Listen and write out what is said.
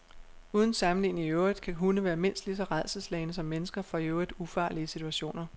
Uden sammenligning i øvrigt kan hunde være mindst lige så rædselsslagne som mennesker for i øvrigt ufarlige situationer.